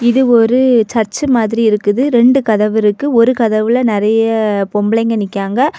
இது ஒரு சர்ச் மாதிரி இருக்குது ரென்டு கதவு இருக்கு ஒரு கதவுல நிறைய பெம்பளைங்க நிக்கிராங்க.